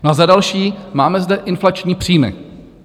No a za další, máme zde inflační příjmy.